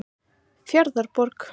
Fjarðarborg